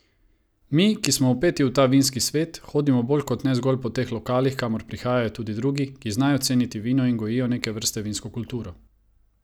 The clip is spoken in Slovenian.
Mi, ki smo vpeti v ta vinski svet, hodimo bolj kot ne zgolj po teh lokalih, kamor prihajajo tudi drugi, ki znajo ceniti vino in gojijo neke vrste vinsko kulturo.